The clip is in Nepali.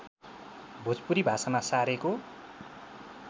भोजपुरी भाषामा सारेको